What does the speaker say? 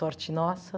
Sorte nossa.